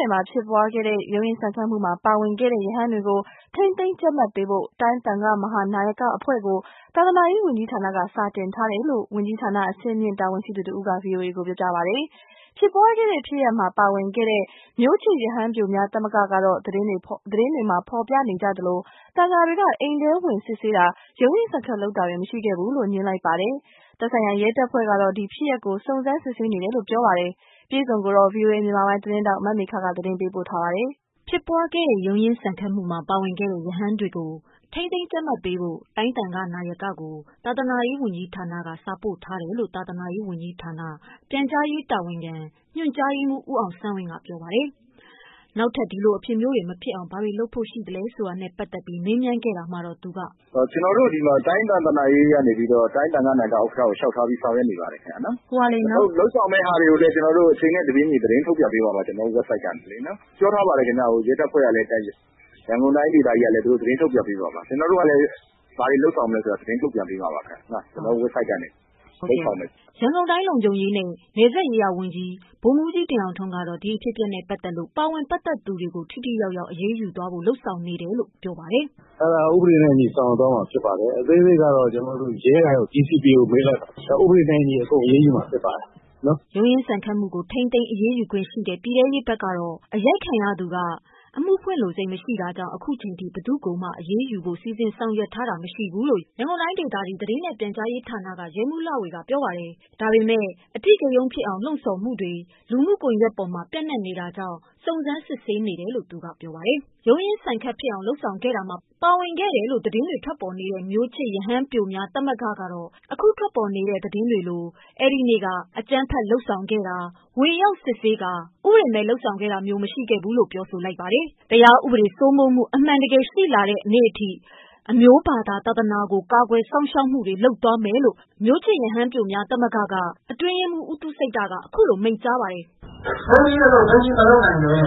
နယ်မှာ ဖြစ်ပွားခဲ့တဲ့ ရုန်းရင်းဆန်ခတ်မှုမှာ ပါဝင်ခဲ့တဲ့ ရဟန်းတွေကို ထိန်းသိမ်းကြပ်မတ်ပေးဖို့ တိုင်း သံဃာ့ မဟာနာယကအဖွဲ့ကို သာသနာရေးဝန်ကြီးဌာနက စာတင်ထားတယ်လို့ ဝန်ကြီးဌာန အဆင့်မြင့်တာဝန်ရှိသူတဦးက ဗွီအိုအေကို ပြောပါတယ်။ ဖြစ်ပွားခဲ့တဲ့ဖြစ်ရပ်မှာ ပါဝင်ခဲ့တဲ့ မျိုးချစ်ရဟန်းပျိုများသမဂ္ဂကတော့ သတင်းတွေမှာ ဖော်ပြနေကြသလို သံဃာတွေ က အိမ်ထဲဝင်စစ်ဆေးတာ၊ ရုန်းရင်းဆန်ခတ်လုပ်တာတွေ မရှိခဲ့ဘူးလို့ ငြင်းလိုက်ပါတယ်။ သက်ဆိုင်ရာရဲတပ်ဖွဲ့ကတော့ ဒီဖြစ်ရပ် ကို စုံစမ်းစစ်ဆေးနေတယ်လို့ဆိုပါတယ်။ အပြည့်အစုံကို ဗွီအိုအေမြန်မာပိုင်းသတင်းထောက် မမေခက သတင်းပေးပို့ထားပါ တယ်။ ဖြစ်ပွားခဲ့တဲ့ ရုန်းရင်းဆန်ခတ်မှုမှာ ပါဝင်ခဲ့တဲ့ ရဟန်းတွေကို ထိန်းသိမ်းကြပ်မတ်ပေးဖို့ တိုင်းသံဃနာယကို သာသနာရေးဝန်ကြီးဌာနက စာပို့ထားတယ်လို့ သာသနာရေးဝန်ကြီး ဌာန၊ ပြန်ကြားရေးတာဝန်ခံ၊ ညွှန်ကြားရေးမှူး ဦးအောင်ဆန်းဝင်းကပြောပါတယ်။ နောက် ထပ်ဒီလိုအဖြစ်မျိုးတွေမဖြစ်အောင်ဘာတွေလုပ်ဖို့ရှိသလဲဆိုတာနဲ့ပတ်သတ်လို့ မေးမြန်း တာမှာတော့ သူက “ကျနော်တို့ဒီမှာ တိုင်းသာသနာရေးကနေပြီးတော့ တိုင်းသံဃနာယဥက္ကဋ္ဌကို စာလျှောက်ထားပြီး ဆောင်ရွက်နေပါတယ်ခင်ဗျ။အခုလုပ်ဆောင်မယ့်ဟာတွေကိုလည်း အချိန်နဲ့ တပြေးညီထုတ်ပြန်ပေးပါမယ် ကျနော်တို့ website ကနေ။ ပြောထားပါတယ်ခင်ဗျ ရဲတပ်ဖွဲ့ကလည်း ရန်ကုန်တိုင်းဒေသကြီးကလည်း သတင်းထုတ်ပြန်ပေးမှာပါ။ ကျနော်တို့ကလည်း ဘာတွေလုပ်ဆောင်မလဲဆိုတာတွေကို သတင်းထုတ်ပြန်ပေးမှာပါ ကျနော်တို့ website ကနေ။” ရန်ကုန်တိုင်း လုံခြုံရေးနဲ့ နယ်စပ်ရေးရာဝန်ကြီး ဗိုလ်မှုးကြီး တင်ထွန်းအောင်ကတော့ ဒီအဖြစ်အပျက် နဲ့ပတ်သတ်လို့ ပါဝင်ပတ်သတ်မှုတွေကို ထိထိရောက် ရောက်အရေး ယူသွားဖို့လုပ်နေ တယ်လို့ ဆိုပါတယ်။ “အဲဒါကို ဥပဒေနဲ့အညီဆောင်ရွက်သွားမှာဖြစ်ပါတယ်။ အသေးစိတ်ကတော့ ကျနေ်ာတို့ ရဲကိုမေးလိုက်ပါ။ ဥပဒေနဲ့အညီ အကုန်အရေးယူမှာဖြစ်ပါတယ်။” ရုန်းရင်းဆန်ခတ်မှုကို ထိန်းသိမ်းအရေးယူခွင့်ရှိတဲ့ ပြည်တဲရေးဘက်ကတော့အရိုက်ခံခဲ့ရသူက အမှုဖွင့် လိုစိတ်မရှိ တာကြောင့် အခုချိန်ထိ ဘယ်သူ့ကိုမှ အရေး ယူဖို့စီစဉ်လုပ်ဆောင်ထားတာမရှိဘူးလို့ ရန်ကုန်တိုင်းဒေသကြီး သတင်းနဲ့ပြန်ကြားရေး ဌာနက ရဲမှုးလှဝေကပြောပါတယ်။ ဒါပေမယ့် အထိကရုန်းဖြစ်အောင် လှုံဆော်မှုတွေလူမှုကွန်ယက်ပေါ်မှာပျံနှံနေတာကြောင့် စုံစမ်းစစ်ဆေးနေတယ်လို့ သူကပြောပါတယ်။ ရုန်းရင်းဆန်ခတ်ဖြစ်အောင်လုပ်ဆောင်ခဲ့တာမှာ ပါဝင်ခဲ့တယ်လို့ သတင်းတွေထွက်နေ တဲ့ မျိုးချစ်ရဟန်းပျိုများသမဂ္ဂကကတော့ အခု သတင်းတွေထွက်နေသလို အကြမ်းဖက် လုပ် ဆောင်တာ၊ ဝင်ရောက်စစ်ဆေးတာစတဲ့ဥပဒေမဲ့လုပ်ဆောင်တာမရှိသလို တရားဥပဒေ စိုးမိုးမှုအမှန်ရှိလာတဲ့အထိ အမျိုးဘာသာကို ကာကွယ်သွားမယ်လို့ မျိုးချစ် ရဟန်းပျိုများ သမဂ္ဂက အတွင်းရေးမှုး ဥူးသုစိတ္တ ကမိန့်လိုက်ပါတယ်။ “ဘုန်းကြီးအလုပ်ကို ဘုန်းကြီးမလုပ်နိုင်ပဲနဲ့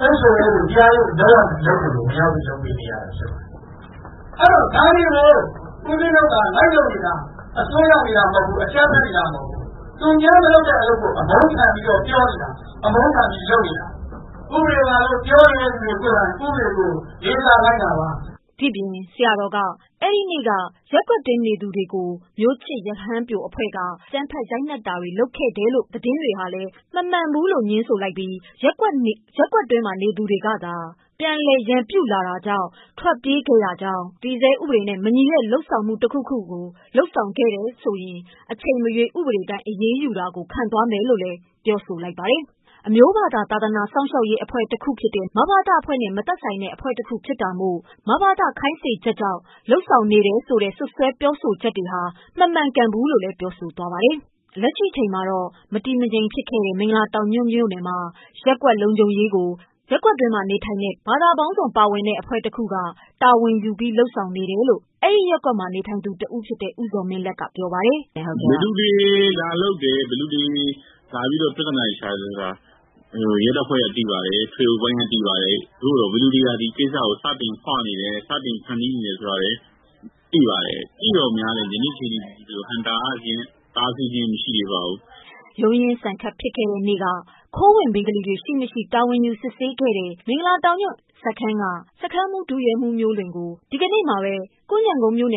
သက်ဆိုင်ရာ အုပ်ချုပ်ရေးတွေ တရားရေးတွေကိုလုပ်ရမှာမို့လို့ ဝင်ရောက်ပြီးလုပ်ပေးနေတာဖြစ်ပါတယ်။ အဲဒီတော့ ဒါတွေကို ဦပဉ္စင်းတို့က လိုက်လုပ်နေတာ အစွန်းရောက်နေတာမဟုတ်ဘူး၊ အကြမ်းဖက်နေတာမဟုတ်ဘူး။ သူများမလုပ်တဲ့ အလုပ်ကို အမုန်းခံပြီးတော့ပြောနေတာ အမုန်းခံပြီးတော့ပြောနေတာ။ ဥပဒေပါလို့ ပြောနေတဲ့လူတွေကိုယ်တိုင် ဥပဒေကို လေးစားလိုက်နာပါ။” ဒီပြင်ဆရာတော်က အဲဒီနေ့က မျိုးချစ်ရဟန်းပျိုများအဖွဲ့က ရပ်ကွက်နေ သူတွေ ကိုလည်းအကြမ်းဖက်ရိုက်နှက်ရန် စတာတွေမလုပ်ခဲ့ဘူးလို့ လည်း ငြင်းဆိုလိုက် ပြီး ရပ်ကွက်နေသူတွေကသာ ပြန်လည်ရန်ပြုခဲ့လို့သာ ထွက်ပြေး ခဲ့ရကြောင်း၊ တည်ဆဲ ဥပဒေနဲ့ မညီတဲ့ လုပ်ဆောင်တာရှိရင်အချိန်မရွေး ဥပဒေတိုင်း အရေးယူတာ ကိုခံမယ်လို့ လည်း ပြောဆို လိုက်ပါတယ်။ အမျိုးဘာသာသာ သနာစောင့် ရှောက်ရေး အဖွဲ့တခုဖြစ်တဲ့ မဘသအဖွဲ့နဲ့ မသက်ဆိုင်တဲ့ အဖွဲ့တခုဖြစ်တာမို့ မဘသခိုင်း စေချက်ကြောင့်လုပ်ဆောင်နေတာမျိုး မရှိဘူးလို့လည်း ပြောသွားခဲ့ပါ တယ်။ လက်ရှိမှာတော့မတည်မငြိမ်ဖြစ်ခဲ့တဲ့ မင်္ဂလာတောင်ညွှန့်မှာတော့ ရပ်ကွက် လုံခြုံရေးကို ရပ်ကွက်တွင်း ဘာသာပေါင်းစုံအဖွဲ့က တာဝန်ယူပြီးလုပ်ဆောင်နေတယ်လို့ ရပ်ကွက်နေတဦးဖြစ်သူ ဦးဇော်မင်းလတ်ကပြောပါတယ်။ “ဘယ်သူတွေလာလုပ်တယ်၊ ဘယ်သူတွေလာပြီးတော့ ပြဿနာတွေရှာတယ်ဆိုတာကိုတော့ ရဲတပ်ဖွဲ့ကသိပါတယ်၊ ထွေအုပ်ပိုင်းက သိပါတယ်။ သို့သော် ဘယ်သူတွေက ဒီကိစ္စကို စတင်ပြီးတော့ ဖွနေတယ် ၊ စတင်ပြီးတော့ ဖန်တီးနေတယ်ဆိုတာတွေကို သိပါတယ်။ သိသော်လည်း ယနေ့ အချိန်အထိကို ဟန့်တားခြင်း၊ တားဆီးခြင်း မရှိသေးပါဘူး။” ရုန်းရင်းဆန်ခတ်ဖြစ်ခဲ့တဲ့နေ့က ခိုးဝင် ဘင်္ဂလီတွေ ရှိမရှိတာဝန်ယူစစ်ဆေးခဲ့တဲ့ မင်္ဂလာတောင်ညွှန့် စခန်းမှုး ဒုရဲမှုးမျိုးလွင်ကို ဒီကနေ့မှာ ကွမ်းခြံကုန်းကို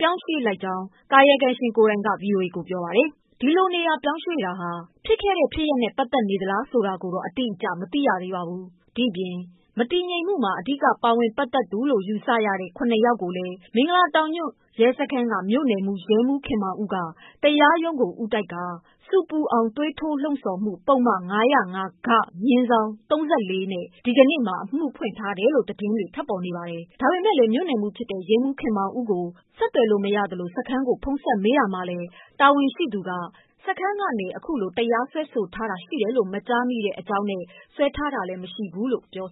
ပြောင်းရွှေ့လိုက်တဲ့အကြောင်း ကာယကံရှင် ကိုယ်တိုင်က ဗွီအိုအေကိုပြောပါတယ်။ ဒီလို နေရာ ပြောင်းရွှေ့တာဟာ ဖြစ်ခဲ့တဲ့ဖြစ်ရပ်နဲ့ ပတ်သက်သလားဆိုတာကိုတော့ အတိအကျ မသိရသေးပါဘူး။ ဒီပြင် မတည်ငြိမ်မှုမှာ အဓိကပါဝင်ပတ်သက်သူ ၇ ယောက်ကို မင်္ဂလာတောင်ညွှန့် မြို့နယ်မှုး ရဲမှုးခင်မောင်ဦးက တရားရုံးကို ဦးတိုက်ကာ ဆူပူအောင်သွေးထိုးလှုံ့ဆော် မှု ပုဒ်မ ၅ဝ၅- ဂ/၃၄ ဒီကနေ့အမှုဖွင့်ထားတယ်လို့ သတင်းတွေထွက်ထားပါတယ်။ ဒါပေမယ့်လည်း မြို့နယ်မှူး ရဲမှုးခင်မောင်ဦးကိုဆက်သွယ်လို့မရသ လို စခန်းကိုဖုန်းဆက်မေးတာမှာလည်းတာဝန်ရှိသူတဦးက စခန်းကနေအခုလိုဆွဲဆိုထားတာရှိတယ်လို့မကြားမိတဲ့အကြောင်းနဲ့ ဆွဲထားတာလည်းမရှိဘူးလို့ ပြော